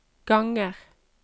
ganger